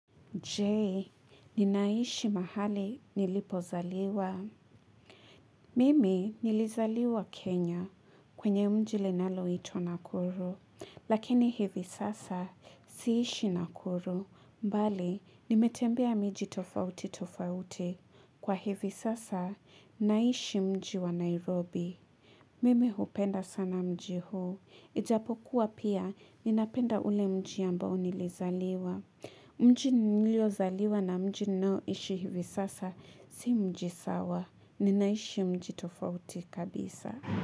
Je, ninaishi mahali nilipozaliwa. Mimi nilizaliwa Kenya kwenye mji linaloitwa nakuru. Lakini hivi sasa siishi nakuru. Mbali, nimetembea miji tofauti tofauti. Kwa hivi sasa, naishi mji wa Nairobi. Mimi hupenda sana mji huu. Ijapokuwa pia, ninapenda ule mji ambao nilizaliwa. Mjini niliozaliwa na mjini nao ishi hivi sasa, si mji sawa, ninaishi mjitofauti kabisa.